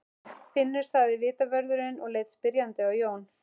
Finnur sagði vitavörðurinn og leit spyrjandi á Jón.